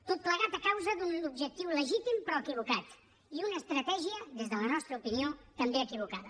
tot plegat a causa d’un objectiu legítim però equivocat i una estratègia des de la nostra opinió també equivocada